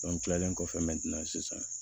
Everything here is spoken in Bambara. kilalen kɔfɛ sisan